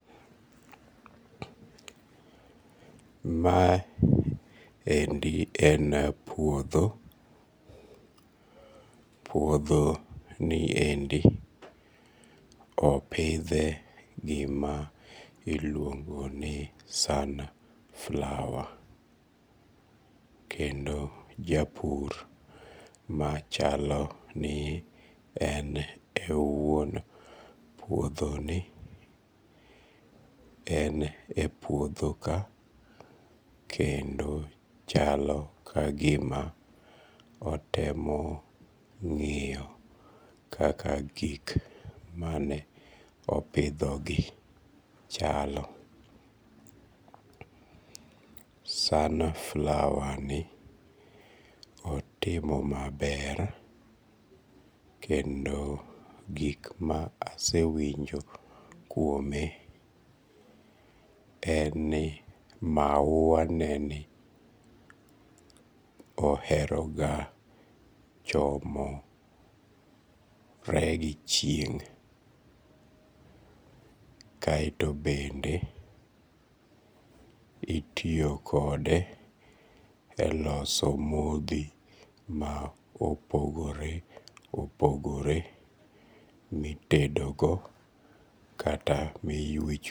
Ma endi en puodho, puodhoniendi opithe gima iluongo ni sunflower, kendo japur machalo ni en e wuon puodhoni en e puodho ka kendo chalo ka gima otemo ng'iyo kaka gik mane opidhogi chalo, sunflower ni otimo maber kendo gik ma asewinjo kuome en ni mauwaneni oheroga chomore gi chieng', kaeto bende itiyo kode e loso mothi ma opogore opogore mitedogo kata miwicho